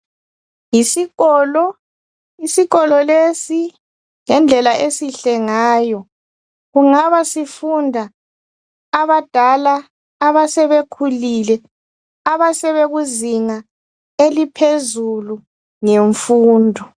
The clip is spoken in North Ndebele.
Yisikolo isikolo lesi ngendlela esihle ngayo kungaba sifunda abasebekhulile abakuzinga eliphezulu ngemfundo